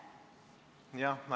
Jah.